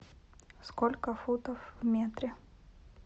сколько футов в метре